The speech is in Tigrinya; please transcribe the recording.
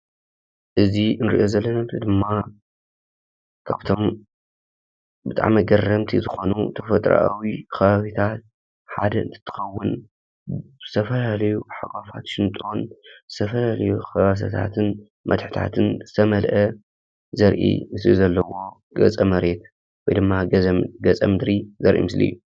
እዚ ንሪኦ ዘለና ምሰሊ ድማ ካብቶም ብጣዕሚ ኣገረምቲ ዝኾኑ ተፈጥሮኣዊ ኸባቢታት ሓደ እንትኸውን ዝተፈላለዩ ሓጓፋት ሽንጥሮን ዝተፈላለዩ ከበሳታትን መድሐታትን ዝተመልአ ዘርኢ ገፀ መሬት ወይ ድማ ገፀ ምድሪ ዘርኢ ምስሊ እዩ፡፡